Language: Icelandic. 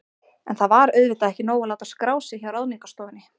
En það var auðvitað ekki nóg að láta skrá sig hjá Ráðningarstofunni.